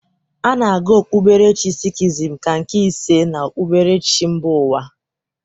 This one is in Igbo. A na-agụ okpuberechi sikhizm ka nke ise n'okpuberechi mba ụwa.